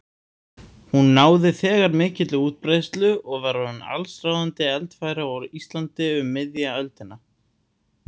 Hún náði þegar mikilli útbreiðslu og var orðin allsráðandi eldfæri á Íslandi um miðja öldina.